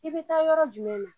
I bɛ taa yɔrɔ jumɛn na